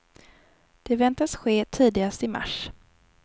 Det väntas ske tidigast i mars.